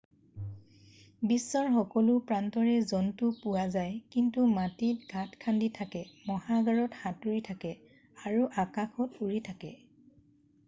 বিশ্বৰ সকলো প্ৰান্ততে জন্তু পোৱা যায় সিহঁতে মাটিত গাত খান্দি থাকে মহাসাগৰত সাঁতুৰি থাকে আৰু আকাশত উৰি থাকে